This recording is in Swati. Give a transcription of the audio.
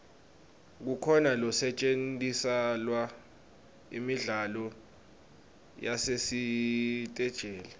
kukhona losetjentiselwa imidlalo yasesiteji